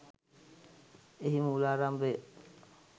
එහි මූලාරම්භය